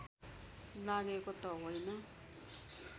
लागेको त होइन